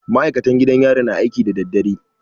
Maikatan gidan yari na aiki da dadadare